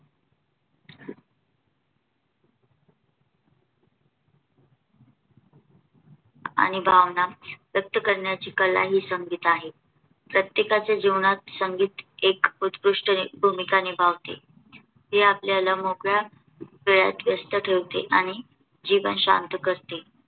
आणि भावना ही व्यक्त करण्याची कला ही संगीत आहे. प्रत्येकाच्या जीवनात संगीत हे उत्कृष्ट भूमिका निभावते. ते आपल्याला मोकळ्या वेळात व्यस्त ठेवते आणि जीवन शांत ठेवते.